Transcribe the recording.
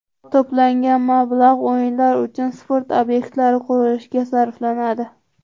To‘plangan mablag‘ O‘yinlar uchun sport obyektlari qurilishiga sarflanadi.